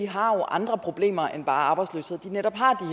har andre problemer end bare arbejdsløshed at de netop har